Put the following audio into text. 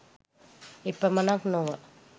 එපමණක් නොව